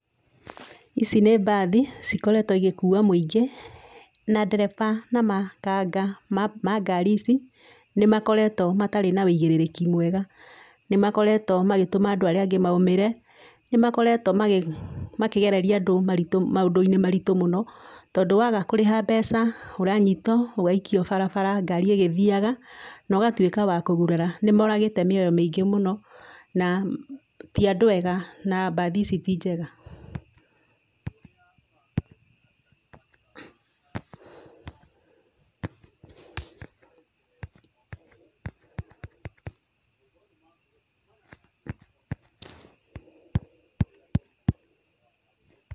Ici nĩ mbathi cikoretwo igĩkua mũingĩ, na ndereba na makanga ma ngari ici nĩ makoretwo matari na ũigĩrĩrĩki mwega. Ni makoretwo magĩtũma andũ arĩa angi maũmĩre, ni makoretwo makĩgereria andũ maũndũ-inĩ maritũ mũno, tondũ waga kũrĩha mbeca, ũranyitwo ũgaikio barabara ngari ĩgĩthiaga na ũgatuĩka wakũgurara. nĩ moragĩte mĩoyo mĩingĩ mũno na ti andũ ega na mbathi ici ti njega.